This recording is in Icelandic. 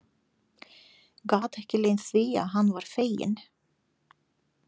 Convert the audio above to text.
Gat ekki leynt því að hann var feginn.